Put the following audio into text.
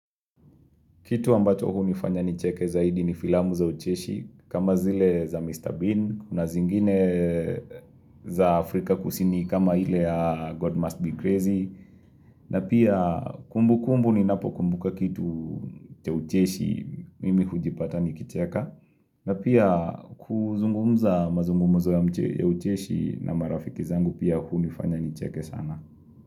Kitu ambacho hunifanya nicheke zaidi ni filamu za ucheshi, kama zile za Mr. Bean, kuna zingine za Afrika kusini kama ile ya God Must Be Crazy, na pia kumbu kumbu ninapokumbuka kitu cha ucheshi mimi hujipata nikicheka, na pia kuzungumza mazungumzo ya mche ya ucheshi na marafiki zangu pia hunifanya nicheke sana.